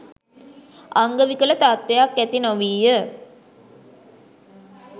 අංගවිකල තත්ත්වයක් ඇති නොවීය